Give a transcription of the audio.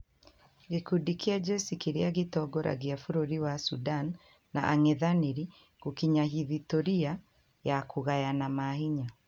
Gĩkundi kia jesi kĩrĩa gĩtongoragia bũrũri wa sudan na angethanĩri gũkinya hithitoria ya kũgayana mahinya